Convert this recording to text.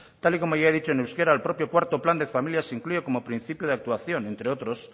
tal y como ya he dicho en euskera el propio cuarto plan de familias incluye como principio de actuación entre otros